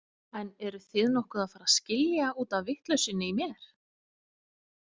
En eruð þið nokkuð að fara að skilja út af vitleysunni í mér?